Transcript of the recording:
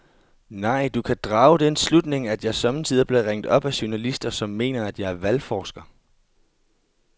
Nej, du kan drage den slutning, at jeg sommetider bliver ringet op af journalister, som mener, at jeg er valgforsker.